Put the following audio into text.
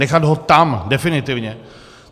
Nechat ho tam definitivně.